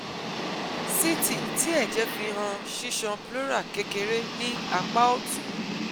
CT ti ẹjẹ fi han ṣiṣan pleural kekere ni apa ọtun